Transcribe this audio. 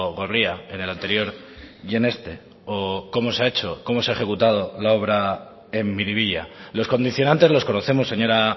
gorria en el anterior y en este o cómo se ha hecho cómo se ha ejecutado la obra en miribilla los condicionantes los conocemos señora